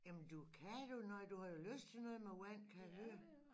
Jamen du kan jo noget du har jo lyst til noget med vand kan jeg høre